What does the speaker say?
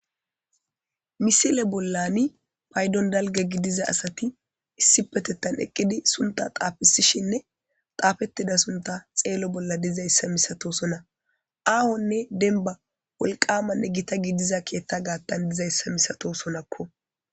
Missile bolani payidon dalga gidiza asati issippetetan eqidi suntha xafisishininne xafetida sunta xelo bola didayisa misatosona ahonne demba woliqamanne gita gidiza keetha gatan deizayisa misatosonakko.